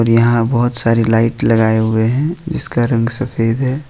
यहां बहुत सारी लाइट लगाए हुए हैं जिसका रंग सफेद है।